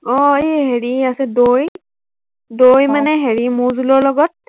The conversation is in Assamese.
আহ এৰ হেৰি আছে দৈ, দৈ মানে হেৰি মৌ জুলৰ লগত